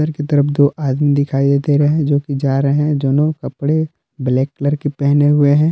एक तरफ दो आदमी दिखाई दे रहे हैं जोकि जा रहे हैं दोनों कपड़े ब्लैक कलर के पहने हुए हैं।